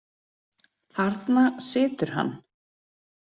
Þarna situr hann.